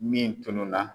Min tununna